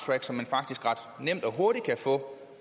for